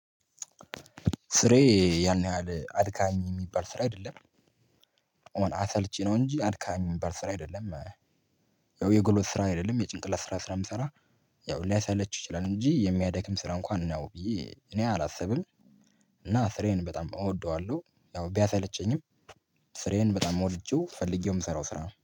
ስራየ ያን ያህል አድካሚ የሚባል ስራ አይደለም። አሁን አሰልቺ ነው እንጂ አድካሚ ምባል ስራ አይደለም። ያው የጉልበት ስራ አይደለም የጭንቅላት ስራ ስለምሰራ። ያው ሊያሳለች ይችላል እንጂ የሚያደክም ስራ እንኳን ነው ብዬ እኔ አላስብም። እና ስራየን በጣም እወደዋለሁ ያው ቢያሰለቸኝም ስሬን በጣም ወድጄው ፈልጌው የምሰራው ስራ ነው